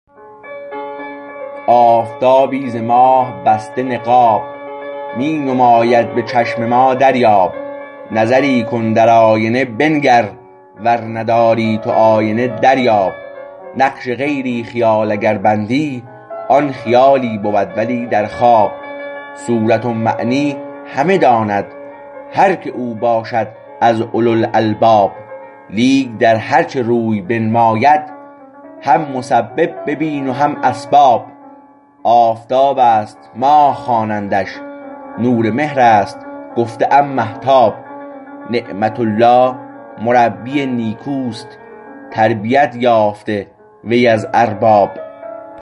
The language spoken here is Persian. آفتابی ز ماه بسته نقاب می نماید به چشم ما دریاب نظری کن در آینه بنگر ور نداری تو آینه دریاب نقش غیری خیال اگر بندی آن خیالی بود ولی در خواب صورت و معنی همه داند هر که او باشد از اولوالالباب لیک در هرچه روی بنماید هم مسبب ببین و هم اسباب آفتاب است ماه خوانندش نور مهر است گفته ام مهتاب نعمت الله مربی نیکوست تربیت یافته وی از ارباب